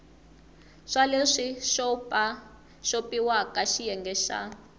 swa leswi xopaxopiwaka xiyenge xa